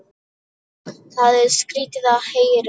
Það er skrýtið að heyra.